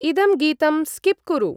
इदं गीतं स्किप् कुरु।